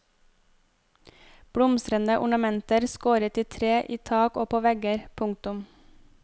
Blomstrende ornamenter skåret i tre i tak og på vegger. punktum